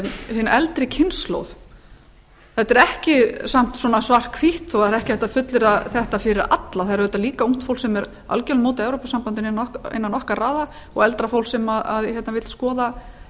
hin eldri kynslóð þetta er ekki samt svona svart hvítt það er ekki hægt að fullyrða þetta fyrir alla það er auðvitað líka ungt fólk sem er algjörlega á móti evrópusambandinu innan okkar raða og eldra fólk sem vill skoða